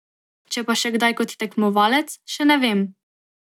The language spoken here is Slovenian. Če pa še kdaj kot tekmovalec, še ne vem.